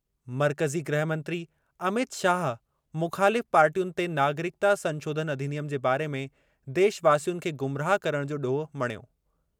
मर्कज़ी गृहमंत्री अमित शाह मुख़ालिफ़ पार्टियुनि ते नागरिकता संशोधन अधिनियम जे बारे में देशवासियुनि खे गुमराह करणु जो ॾोह मणियो।